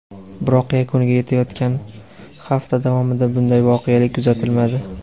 biroq yakuniga yetayotgan hafta davomida bunday voqelik kuzatilmadi.